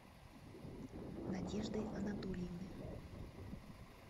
надежды анатольевны